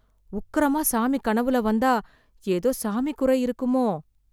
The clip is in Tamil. உக்கிரமா சாமி கனவுல வந்தா, ஏதோ சாமி குறை இருக்குமோ?